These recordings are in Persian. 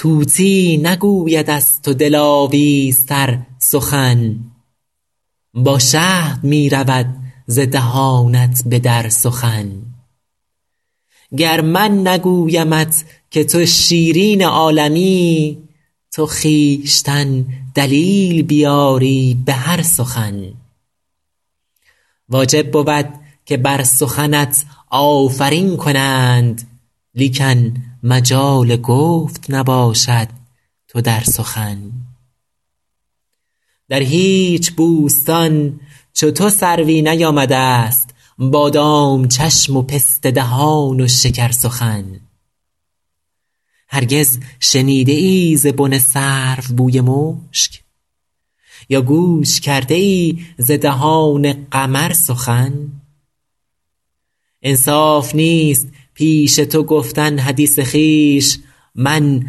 طوطی نگوید از تو دلاویزتر سخن با شهد می رود ز دهانت به در سخن گر من نگویمت که تو شیرین عالمی تو خویشتن دلیل بیاری به هر سخن واجب بود که بر سخنت آفرین کنند لیکن مجال گفت نباشد تو در سخن در هیچ بوستان چو تو سروی نیامده ست بادام چشم و پسته دهان و شکرسخن هرگز شنیده ای ز بن سرو بوی مشک یا گوش کرده ای ز دهان قمر سخن انصاف نیست پیش تو گفتن حدیث خویش من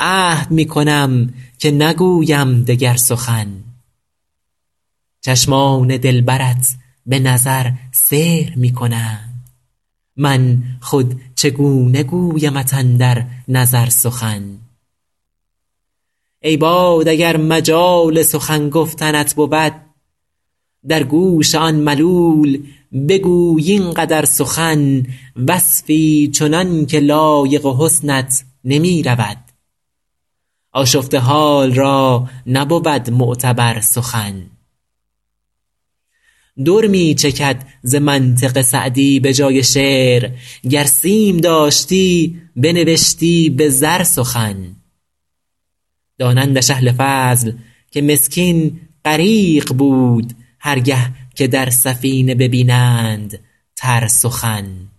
عهد می کنم که نگویم دگر سخن چشمان دلبرت به نظر سحر می کنند من خود چگونه گویمت اندر نظر سخن ای باد اگر مجال سخن گفتنت بود در گوش آن ملول بگوی این قدر سخن وصفی چنان که لایق حسنت نمی رود آشفته حال را نبود معتبر سخن در می چکد ز منطق سعدی به جای شعر گر سیم داشتی بنوشتی به زر سخن دانندش اهل فضل که مسکین غریق بود هر گه که در سفینه ببینند تر سخن